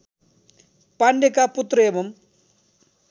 पाण्डेका पुत्र एवम्